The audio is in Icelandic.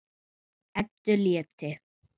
Eddu létti.